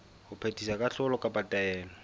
ho phethisa kahlolo kapa taelo